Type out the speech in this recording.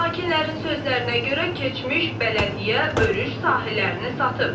Sakinlərin sözlərinə görə keçmiş bələdiyyə örüş sahələrini satıb.